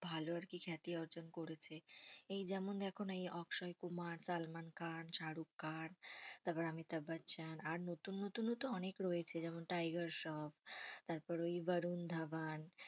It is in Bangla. ভালো আরকি খ্যাতি অর্জন করেছে। এই যেমন এখন এই অক্ষয় কুমার, সালমান খান, শাহরুখ খান, তারপর অমিতাভ বচ্চন আর নতুন নতুন তো অনেক রয়েছে, যেমন টাইগার শ্রফ তারপর ওই বরুন ধাবান।